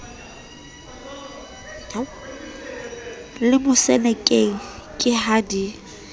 le mosenekeng ke ha di